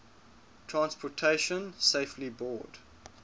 transportation safety board